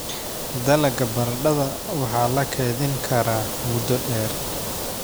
Dalagga baradhada waxaa la keydin karaa muddo dheer.